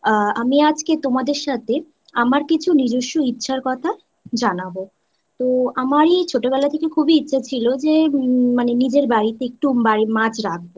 আ আমি আজকে তোমাদের সাথে আমার কিছু নিজস্ব ইচ্ছার কথা জানাবI তো আমারই ছোটবেলা থেকে খুবই ইচ্ছা ছিল যে মানে নিজের বাড়িতে একটু বাড়ির মাছ রাখব